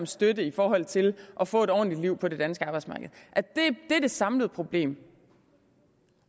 støtte i forhold til at få et ordentligt liv på det danske arbejdsmarked det er det samlede problem